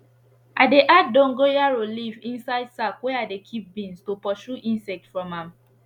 i dey add dongorayo leaf inside sack wey i dey keep beans to pursue insect from am